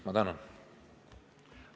Ma tänan!